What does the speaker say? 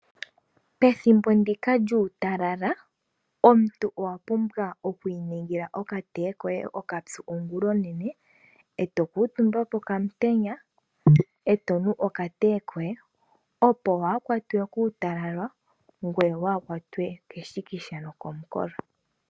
Pethimbo ndyoka lyuutalala omuntu owapumbwa okwiiningika okateye koye okapyu oongulaoonene, eto kuutumba pokamitenya, ete nu okateye koye opo waakwatwe kuutalala, keshikisha nokumukolo .